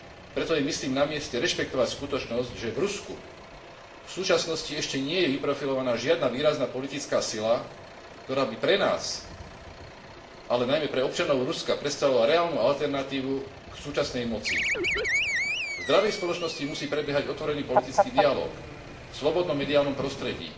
Preto je, myslím, na mieste rešpektovať skutočnosť, že v Rusku v súčasnosti ešte nie je vyprofilovaná žiadna výrazná politická sila, ktorá by pre nás, ale najmä pre občanov Ruska, predstavovala reálnu alternatívu k súčasnej moci. V zdravej spoločnosti musí prebiehať otvorený politický dialóg v slobodnom mediálnom prostredí,